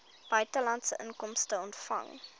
buitelandse inkomste ontvang